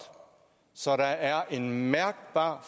så der er en mærkbar